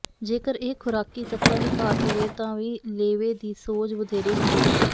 ਜੇਕਰ ਇਹ ਖ਼ੁਰਾਕੀ ਤੱਤਾਂ ਦੀ ਘਾਟ ਹੋਵੇ ਤਾਂ ਵੀ ਲੇਵੇ ਦੀ ਸੋਜ ਵਧੇਰੇ ਹੁੰਦੀ ਹੈ